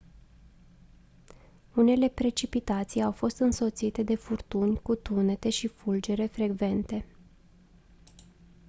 unele precipitații au fost însoțite de furtuni cu tunete și fulgere frecvente